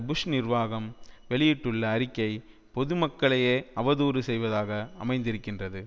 push நிர்வாகம் வெளியிட்டுள்ள அறிக்கை பொதுமக்களையே அவதூறு செய்வதாக அமைந்திருக்கின்றது